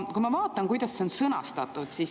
Aga ma vaatan, kuidas see on sõnastatud.